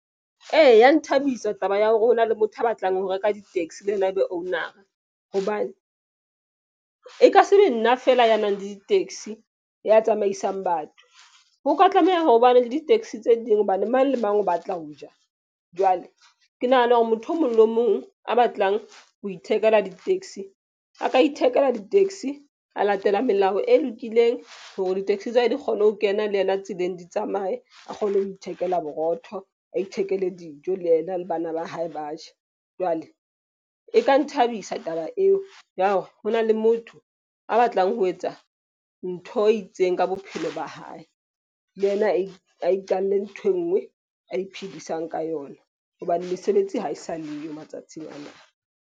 Ee, ya nthabisa taba ya hore ho na le motho a batlang ho reka di-taxi le yena, ebe owner-a. Hobane e ka be nna fela ya nang le di-taxi ya tsamaisang batho ho ka tlameha ho bane le di-taxi tse ding. Hobane mang le mang o batla ho ja. Jwale ke nahana hore motho o mong le mong a batlang ho ithekela di-taxi a ka ithekela di-taxi a latela melao e lokileng hore di-taxi tsa hae di kgone ho kena le yena tseleng, di tsamaye a kgone ho ithekela borotho, a ithekele dijo. Le yena le bana ba hae ba je, jwale e ka nthabisa taba eo ya hore ho na le motho a batlang ho etsa ntho e itseng ka bophelo ba hae, le yena a iqalle nthwe enngwe a iphedisang ka yona. Hobane mesebetsi ha e sa leyo matsatsing ana.